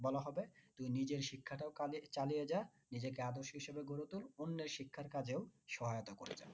বলা হবে তুই নিজের শিক্ষাটাও চালিয়ে যা নিজেকে আদর্শ হিসাবে গড়ে তোল অন্যের শিক্ষার কাজের সহায়তা করে যা।